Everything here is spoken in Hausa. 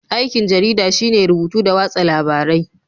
Aikin jarida shine rubutu da watsa labarai